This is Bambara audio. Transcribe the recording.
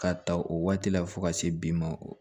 K'a ta o waati la fo ka se bi ma